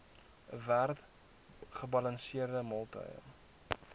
werd gebalanseerde maaltye